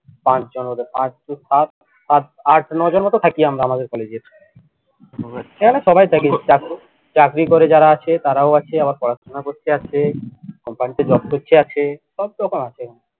পাঁচ জন হবে পাঁচ সাত আট আট নয় জনের মতো থাকি আমরা আমাদের college এর সবাই থাকি চাকরি করে যারা আছে তারাও আছে আবার পড়াশুনা করছে আছে company তে job করছে আছে সব রকম আছে এখানে